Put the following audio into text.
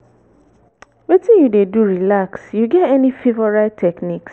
wetin you dey do relax you get any favorite techniques?